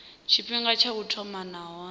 tshifhinga tsha u thoma nahone